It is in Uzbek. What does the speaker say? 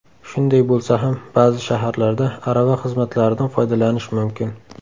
Shunday bo‘lsa ham, ba’zi shaharlarda arava xizmatlaridan foydalanish mumkin.